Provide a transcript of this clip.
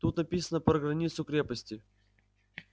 тут написано про границу крепости